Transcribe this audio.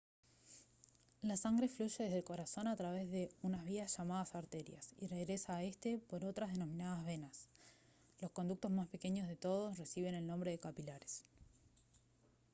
la sangre fluye desde el corazón a través de unas vías llamadas arterias y regresa a éste por otras denominadas venas los conductos más pequeños de todos reciben el nombre de capilares